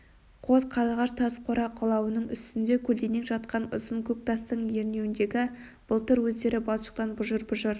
қос қарлығаш тас қора қалауының үстінде көлденең жатқан ұзын көк тастың ернеуіндегі былтыр өздері балшықтан бұжыр-бұжыр